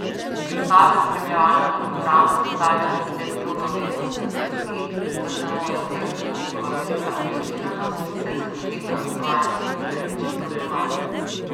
Predstave spremljevalnega programa zrcalijo nekatere druge umetnostne zvrsti, zaznamuje pa jih tudi njihova velika angažiranost, saj se dotikajo aktualnih, perečih problematik.